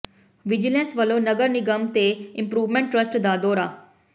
vigilance ਵੱਲੋਂ ਨਗਰ ਨਿਗਮ ਤੇ ਇੰਪਰੂਵਮੈਂਟ ਟਰੱਸਟ ਦਾ ਦੌਰਾ